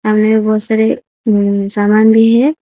अंदर बहुत सारे सामान भी है।